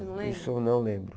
Isso eu não lembro.